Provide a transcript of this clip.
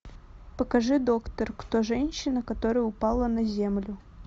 покажи доктор кто женщина которая упала на землю